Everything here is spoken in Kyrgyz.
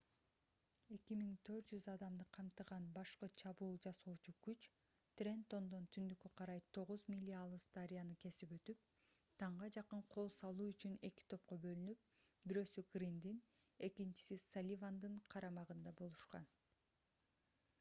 2400 адамды камтыган башкы чабуул жасоочу күч трентондон түндүккө карай тогуз миля алыс дарыяны кесип өтүп таңга жакын кол салуу үчүн эки топко бөлүнүп бирөөсү гриндин экинчиси салливандын карамагында болушкан